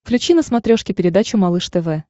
включи на смотрешке передачу малыш тв